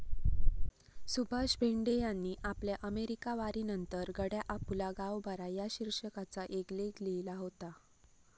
सुभाष भेंडे यांनी आपल्या अमेरिकावारीनंतर 'गड्या आपुला गाव बरा' या शिर्षकाचा एक लेख लिहिला होता.